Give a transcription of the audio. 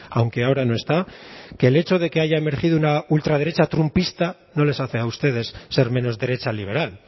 aunque ahora no está que el hecho de que haya emergido una ultraderecha trumpista no les hace a ustedes ser menos derecha liberal